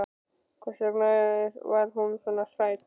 Hvers vegna var hún svona hrædd?